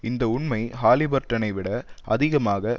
இந்த உண்மை ஹாலிபர்டனை விட அதிகமாக